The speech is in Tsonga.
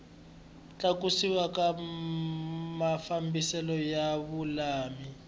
tlakusiwa ka mafambiselo ya vululami